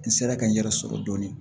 N sera ka n yɛrɛ sɔrɔ dɔɔnin